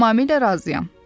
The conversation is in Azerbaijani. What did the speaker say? Tamamilə razıyam.